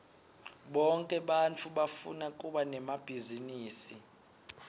bonke bantfu bafuna kuba nemabhizinisi